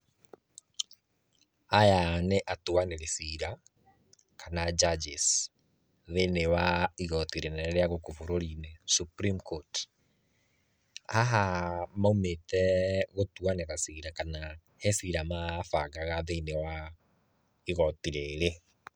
Aya nĩ atuanĩri cira kana judges thĩiniĩ wa igoti rĩnene rĩa gũkũ bũrũri-inĩ, Supreme Court. Haha maumĩte gũtuanĩra cira kana he cira mabangaga thĩiniĩ wa igoti rĩrĩ.